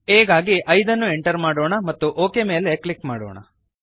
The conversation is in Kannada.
aಗಾಗಿ 5 ಅನ್ನು ಎಂಟರ್ ಮಾಡೋಣ ಮತ್ತು OKಮೇಲೆ ಕ್ಲಿಕ್ ಮಾಡೋಣ